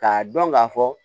K'a dɔn k'a fɔ